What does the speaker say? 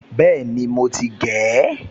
Bẹ́ẹ̀ni, mo ti gé e